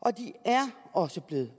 og de er også blevet